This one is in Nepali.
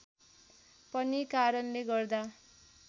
पनि कारणले गर्दा